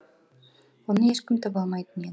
оны ешкім таба алмайтын